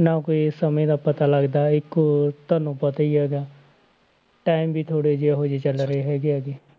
ਨਾ ਕੋਈ ਸਮੇਂ ਦਾ ਪਤਾ ਲੱਗਦਾ ਹੈ ਇੱਕ ਔਰ ਤੁਹਾਨੂੰ ਪਤਾ ਹੀ ਹੈਗਾ ਹੈ time ਵੀ ਥੋੜ੍ਹੇ ਇਹੋ ਜਿਹੇ ਚੱਲ ਰਹੇ ਹੈਗੇ ਆ ਗੇ।